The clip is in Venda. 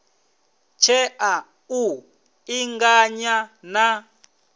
tshea u ḓi ṱanganya na